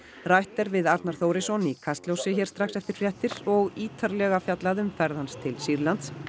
rætt er við Arnar Þórisson í Kastljósi hér strax eftir fréttir og ítarlega fjallað um ferð hans til Sýrlands